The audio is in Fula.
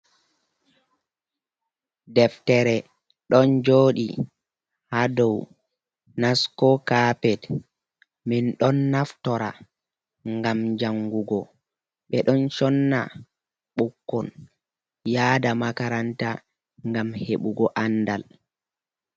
Deftere ɗon jooɗii haa doo nasko kapet, min don naftora ngam jangugo, ɓe don sonna ɓukkon yaada makaranta ngam hebugo andal.